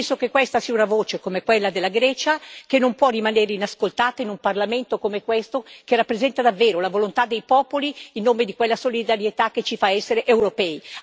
Penso che questa sia una voce, come quella della Grecia, che non può rimanere inascoltata, in un Parlamento come questo che rappresenta davvero la volontà dei popoli in nome di quella solidarietà che ci fa essere europei.